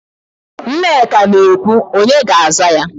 Nneka na-ekwe, onye ga-aza ya?